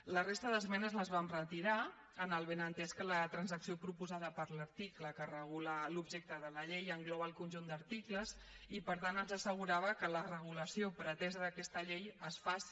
la resta d’esmenes les vam retirar amb el benentès que la transacció proposada per l’article que regula l’objecte de la llei engloba el conjunt d’articles i per tant ens assegurava que la regulació pretesa d’aquesta llei es faci